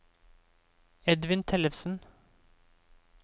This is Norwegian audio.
Edvin Tellefsen